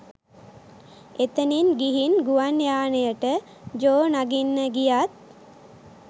එතනින් ගිහින් ගුවන් යානයට ජෝ නගින්න ගියත්